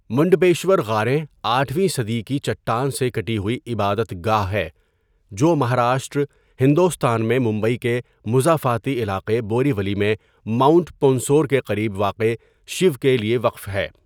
منڈپیشور غاریں آٹھویں صدی کی چٹان سے کٹی ہوئی عبادت گاہ ہے جو مہاراشٹر، ہندوستان میں ممبئی کے مضافاتی علاقے بوریولی میں ماؤنٹ پونسور کے قریب واقع شیو کے لیے وقف ہے.